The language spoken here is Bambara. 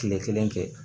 Kile kelen kɛ